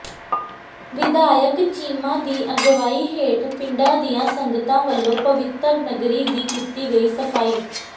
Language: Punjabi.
ਵਿਧਾਇਕ ਚੀਮਾ ਦੀ ਅਗਵਾਈ ਹੇਠ ਪਿੰਡਾਂ ਦੀਆਂ ਸੰਗਤਾਂ ਵੱਲੋਂ ਪਵਿੱਤਰ ਨਗਰੀ ਦੀ ਕੀਤੀ ਗਈ ਸਫ਼ਾਈ